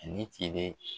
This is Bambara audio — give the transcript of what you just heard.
Ne tilenen